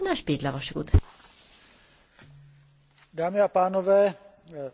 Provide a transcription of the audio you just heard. Dámy a pánové, diskuze, která proběhla byla neobyčejně bohatá.